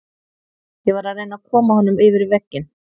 Ég var að reyna að koma honum yfir vegginn.